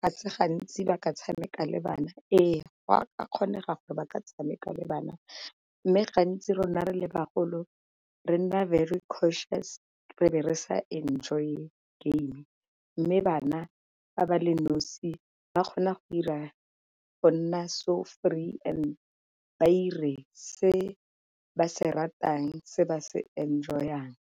ga se gantsi ba ka tshameka le bana. Ee go a kgonega gore ba ka tshameka le bana, mme gantsi rona re le bagolo re nna very cautious re be re sa enjoy-e game. Mme bana fa ba le nosi ba kgona go ira go nna so free and ire se ba se ratang se ba se enjoy-ang.